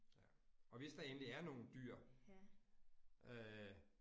Ja, og hvis der endelig er nogle dyr øh